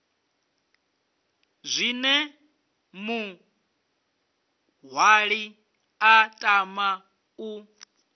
zwine muṅwali a tama u